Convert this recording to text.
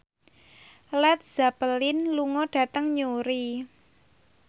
Led Zeppelin lunga dhateng Newry